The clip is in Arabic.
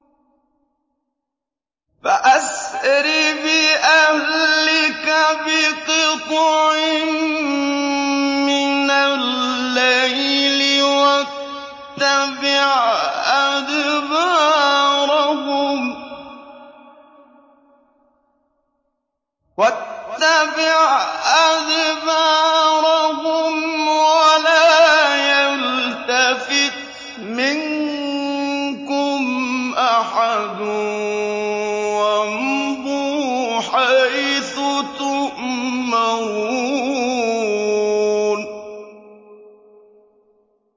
فَأَسْرِ بِأَهْلِكَ بِقِطْعٍ مِّنَ اللَّيْلِ وَاتَّبِعْ أَدْبَارَهُمْ وَلَا يَلْتَفِتْ مِنكُمْ أَحَدٌ وَامْضُوا حَيْثُ تُؤْمَرُونَ